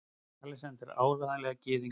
ALEXANDER: Áreiðanlega gyðingur!